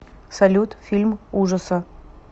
салют фильм ужаса